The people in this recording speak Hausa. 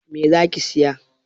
Me zaki siya?